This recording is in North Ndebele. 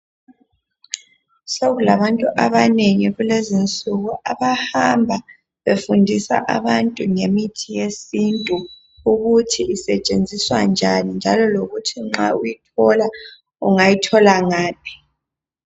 Sokulabantu abanengi kulezinsuku abahamba befundisa abantu ngemithi yesintu ukuthi isetshenziswa njani njalo lokuthi nxa uyithola ungayithola ngaphi.